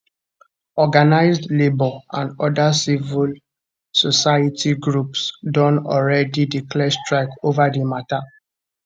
organized labour and oda civil society groups don already declare strike ova di mata